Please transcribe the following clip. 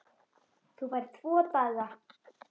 Þú færð tvo daga.